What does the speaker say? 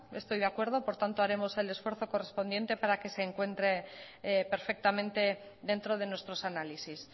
estoy de acuerdo por tanto haremos el esfuerzo correspondiente para que se encuentre perfectamente dentro de nuestros análisis